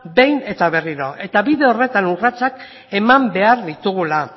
behin eta berriro eta bide horretan urratsak eman behar ditugula